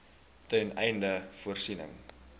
ten einde voorsiening